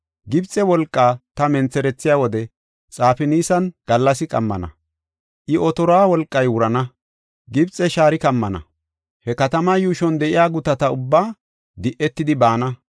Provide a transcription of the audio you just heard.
Gibxe wolqaa ta mentherethiya wode Xafinaasan gallasi qammana; I otoruwa wolqay wurana; Gibxe shaari kammana; he katama yuushon de7iya gutati ubbaa di7etidi baana.